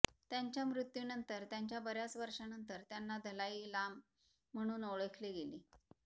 त्यांच्या मृत्यूनंतर त्यांच्या बर्याच वर्षांनंतर त्यांना दलाई लाम म्हणून ओळखले गेले